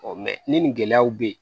ni nin gɛlɛyaw bɛ yen